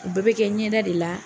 O bɛɛ be kɛ ɲɛda de la.